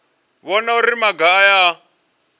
vhona uri maga aya a